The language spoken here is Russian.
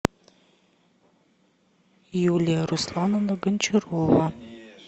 юлия руслановна гончарова